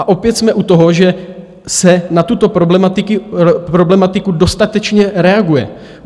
A opět jsme u toho, že se na tuto problematiku dostatečně reaguje.